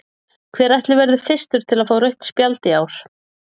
Hver ætli verði fyrstur til að fá rautt spjald í ár?